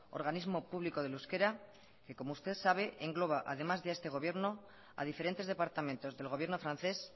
organismo público del euskera que como usted sabe engloba además de a este gobierno a diferentes departamentos del gobierno francés